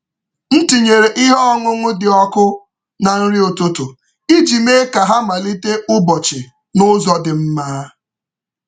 M tinyere ihe ọṅụṅụ dị ọkụ na nri ụtụtụ iji mee ka ha malite ụbọchị n’ụzọ dị mma.